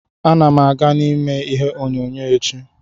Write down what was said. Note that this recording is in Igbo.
Ana m aga ime ihe onyonyo echi.